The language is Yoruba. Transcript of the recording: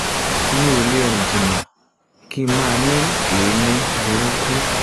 mi ò lè rìn jìnnà kí n má ní èémí burúkú